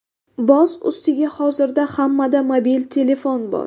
Boz ustiga, hozirda hammada mobil telefon bor.